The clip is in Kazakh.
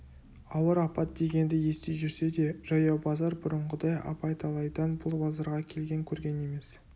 ауыр апат дегенді ести жүрсе де жаяу базар бұрынғыдай абай талайдан бұл базарға келген көрген емес